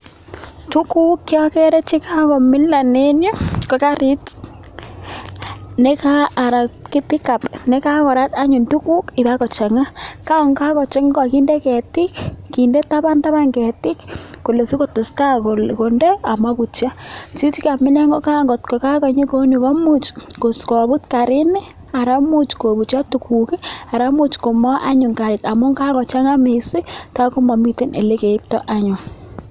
Tuguuk chokere che kakomilan eng yu, ko kariit anan pickup ne kakorat anyun tuguk ipokochanga, ko kakochanga kakinde ketiik, kindee taban taban ketiik kole sikotestai konde amaputio. Kiit nekamilan, kot ko kakonyi kouni komuch koput kariini anan imuch koukcho tuguk amun much amun kakochanga mising tai komamito ole keiptoi anyun.